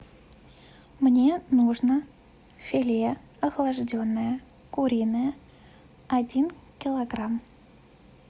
мне нужно филе охлажденное куриное один килограмм